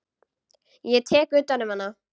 Ég tek utan um hana.